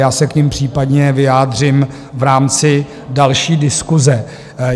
Já se k nim případně vyjádřím v rámci další diskuse.